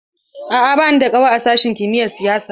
A'a, ba ni da ƙawa a sashin kimiyar siyasa.